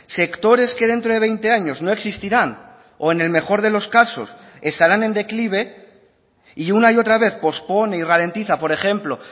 sectores que dentro de veinte años no existirán o en el mejor de los casos estarán en declive y una y otra vez pospone y ralentiza por ejemplo